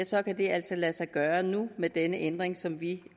så kan det altså lade sig gøre nu med denne ændring som vi